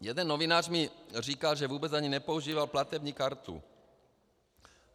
Jeden novinář mi říkal, že vůbec ani nepoužíval platební kartu.